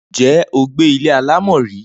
Ǹjé̩ o gbé ilé alámò̩ rí?